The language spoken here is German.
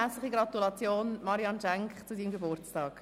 Herzliche Gratulation, Marianne Schenk, zum Geburtstag!